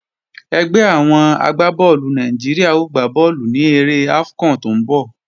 Ẹgbẹ́ àwọn agbá bọ́ọ̀lù Nàìjíríà ó gbá bọ́ọ̀lù ní eré AFCON tó ń bọ̀